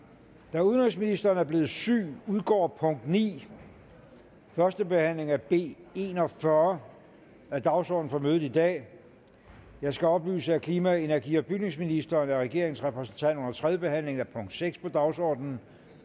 da udenrigsministeren er blevet syg udgår punkt ni førstebehandling af b en og fyrre af dagsordenen for mødet i dag jeg skal oplyse at klima energi og bygningsministeren er regeringens repræsentant under tredjebehandlingen af punkt seks på dagsordenen